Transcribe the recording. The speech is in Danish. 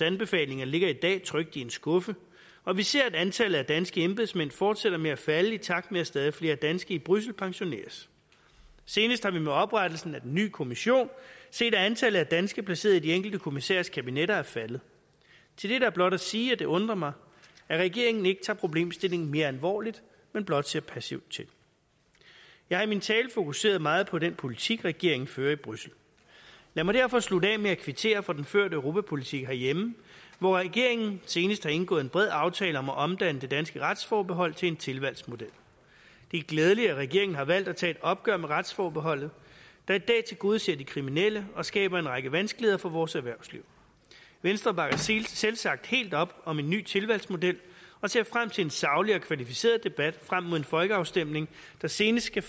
anbefalinger ligger i dag trygt i en skuffe og vi ser at antallet af danske embedsmænd fortsætter med at falde i takt med at stadig flere danske i bruxelles pensioneres senest har vi med oprettelsen af den nye kommission set at antallet af danske placeret i de enkelte kommissærers kabinetter er faldet til det er der blot at sige at det undrer mig at regeringen ikke tager problemstillingen mere alvorligt men blot ser passivt til jeg har i min tale fokuseret meget på den politik regeringen fører i bruxelles lad mig derfor slutte af med at kvittere for den førte europapolitik herhjemme hvor regeringen senest har indgået en bred aftale om at omdanne det danske retsforbehold til en tilvalgsmodel det er glædeligt at regeringen har valgt at tage et opgør med retsforbeholdet der i dag tilgodeser de kriminelle og skaber en række vanskeligheder for vores erhvervsliv venstre bakker selvsagt helt op om en ny tilvalgsmodel og ser frem til en saglig og kvalificeret debat frem mod en folkeafstemning der senest skal